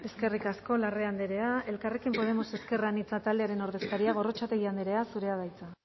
eskerrik asko larrea andrea elkarrekin podemos ezker anitza taldearen ordezkaria gorrotxategi andrea zurea da hitza